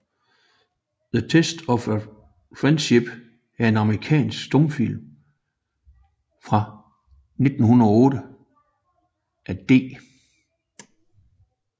The Test of Friendship er en amerikansk stumfilm fra 1908 af D